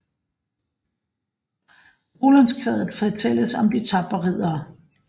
I Rolandskvadet fortælles om de tapre riddere